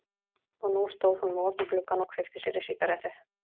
Og nú stóð hún við opinn gluggann og kveikti sér í sígarettu.